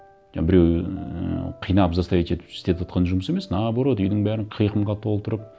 жаңа біреу ііі қинап заставить етіп істетіватқан жұмыс емес наоборот үйдің бәрін қиқымға толтырып